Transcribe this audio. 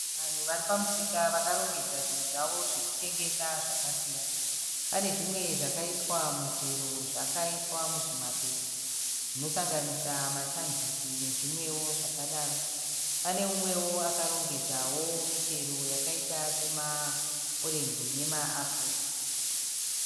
Vanhu vari pamusika vakarongedza zvinhu zvavo zvokutengesa zvakasiyana. Pane zvimwe zvakaiswa mutsero zvakaiswa muzvimapepa zvinosanganisa machangisi nezvimwewo zvakadaro. Pane mumwewo akarongedzawo michero yakaita semaorenji nemaapuro.